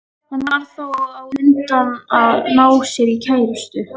Hann varð þá á undan að ná sér í kærustu.